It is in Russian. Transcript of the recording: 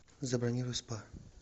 забронируй спа